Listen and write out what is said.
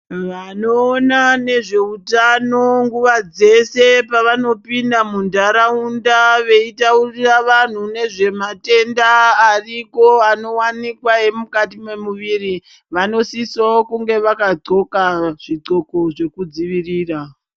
Vanoona nezveutano nguwa dzese, pavanopinda muntaraunda veyitaurira vanhu nezvematenda ariko, anowanikwa emukati mwemuwiri, vanosiso kunga vakadhloka zvidhloko zvekudzivirira.